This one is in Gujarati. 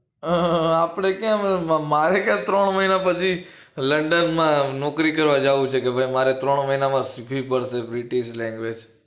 હા હા આપડે ક્યાં મારે ક્યાં ત્રણ મહિના પછી london માં નોકરી કરવા જવું છે કે ભાઈ મારે ત્રણ મહિનામાં શીખવીજ પડશે british language